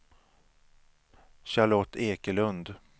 Charlotte Ekelund